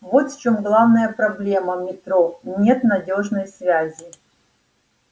вот в чём главная проблема метро нет надёжной связи